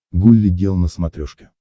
гулли гел на смотрешке